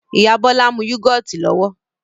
Ìyá Bọlá ń mú yúgọ́ọ́tì lọ́wọ́